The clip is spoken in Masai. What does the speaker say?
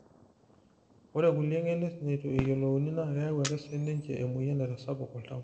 ore kulie genes neitu eyiolouni naa keyau ake sii ninche emoyian naitasapuk oltau